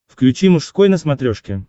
включи мужской на смотрешке